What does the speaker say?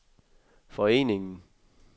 foreningen